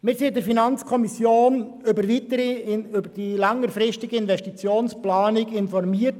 Wir wurden in der FiKo über die längerfristige Investitionsplanung informiert.